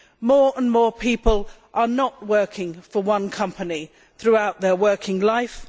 More and more people are not working for one company throughout their working life.